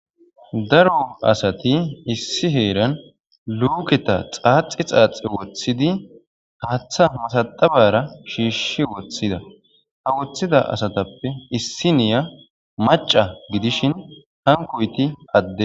Daro asati issi heeran luuketa xaaxi xaaxi woththidi haaththa masaxabara shiishi woththida. Ha woththida asatappe issiniya macca gidishin hankoyti adde.